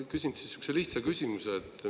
Ma küsin sellise lihtsa küsimuse.